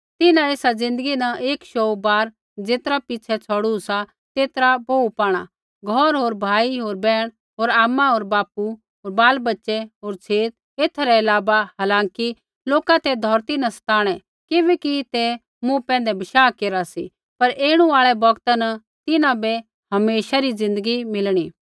तिन्हैं एसा ज़िन्दगी न एक शौऊ बार ज़ेतरा पिछ़ै छ़ौड़ू सा तेतरा बोहू पाणा घौर होर भाई होर बैहण होर आमा होर बापू होर बालबच्चे होर छेत एथा रै अलावा हालांकि लोका ते धौरती न सताणै किबैकि ते मूँ पैंधै बशाह केरा सी पर ऐणु आल़ै बौगता न तिन्हां बै हमेशा री ज़िन्दगी मिलणी